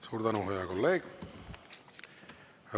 Suur tänu, hea kolleeg!